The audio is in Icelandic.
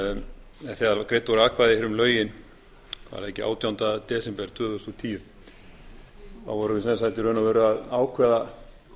um lögin var það ekki átjánda desember tvö þúsund og tíu þá vorum við í raun og veru að ákveða